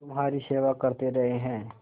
तुम्हारी सेवा करते रहे हैं